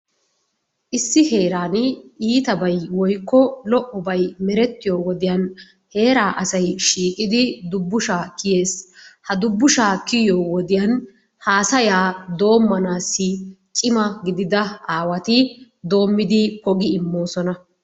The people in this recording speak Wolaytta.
Issi heeran iitabay woykko lo'obay meretiyoy wodiyan heeraa asay shiiqqidi dubbushshaa kiyees, ha dubbushshaa kiyo wodiyan haasaya doommanaassi cimma gidida aawati doomidi poggi immoosona.